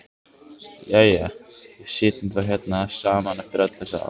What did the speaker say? Jæja, við sitjum þá hérna saman eftir öll þessi ár.